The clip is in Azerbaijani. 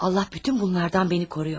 Allah bütün bunlardan məni qoruyor.